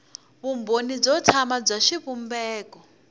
vumbhoni byo tsana bya xivumbeko